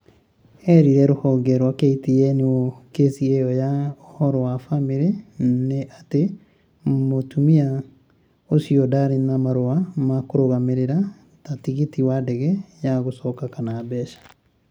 Eerire rũhonge rwa KTN ũũ kĩsi ĩyo ya ũhoro wa famĩrĩ na atĩ mũtumia ũcio ndarĩ na marũa ma kũrũgamĩrĩra ta tigiti wa ndege ya gũcoka kana mbeca.'